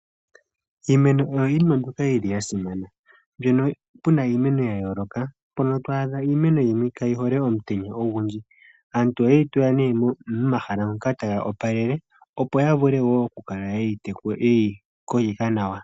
Iimeno oyo iinima mbyoka yili yasimana mbyono puna iimeno ya yooloka mpono ta adha iimeno yimwe kayi hole omutenya ogundji. Aantu ohayeyi tula nee momahala moka tayi opalele opo yavule woo okukala yeyi kokitha nawa.